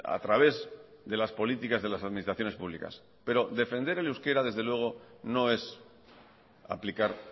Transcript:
a través de las políticas de las administraciones públicas pero defender el euskera desde luego no es aplicar